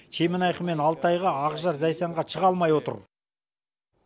чемонайха мен алтайға ақжар зайсанға чыға алмай отыр